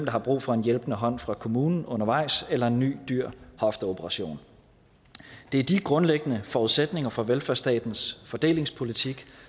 har brug for en hjælpende hånd fra kommunen undervejs eller en ny dyr hofteoperation det er de grundlæggende forudsætninger for velfærdsstatens fordelingspolitik